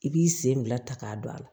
I b'i sen bila ta k'a don a la